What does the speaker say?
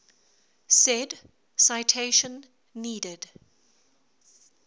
said citation needed